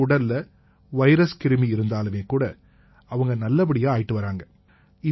அவங்க உடல்ல வைரஸ் கிருமி இருந்தாலுமே கூட அவங்க நல்லபடியா ஆயிட்டு வர்றாங்க